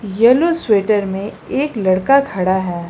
Yellow sweater में एक लड़का खड़ा है।